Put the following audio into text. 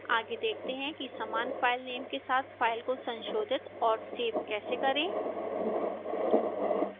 आगे देखते हैं कि समान filename के साथ file को संशोधित और सेव कैसे करें